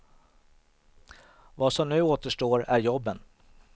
Vad som nu återstår är jobben.